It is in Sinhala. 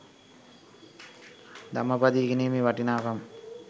ධම්මපදය ඉගෙනීමේ වටිනාකම